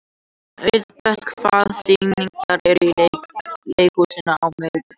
Auðbert, hvaða sýningar eru í leikhúsinu á miðvikudaginn?